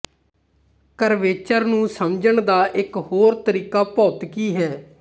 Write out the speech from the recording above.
curvature ਨੂੰ ਸਮਝਣ ਦਾ ਇੱਕ ਹੋਰ ਤਰੀਕਾ ਭੌਤਿਕੀ ਹੈ